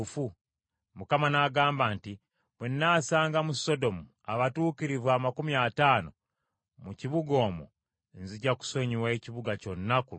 Mukama n’agamba nti, “Bwe nnaasanga mu Sodomu abatuukirivu amakumi ataano mu kibuga omwo nzija kusonyiwa ekibuga kyonna ku lwabwe.”